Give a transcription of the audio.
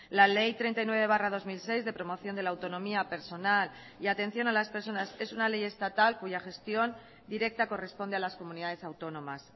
la ley treinta y nueve barra dos mil seis de promoción de la autonomía personal y atención a las personas es una ley estatal cuya gestión directa corresponde a las comunidades autónomas